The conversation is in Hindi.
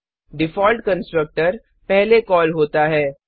डिफॉल्ट कंस्ट्रक्टर पहले कॉल होता है